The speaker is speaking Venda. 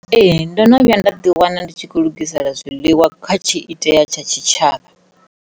Ee, ndo no vhuya nda ḓi wana ndi tshi khou lugisela zwiḽiwa kha tshiitea tsha tshitshavha.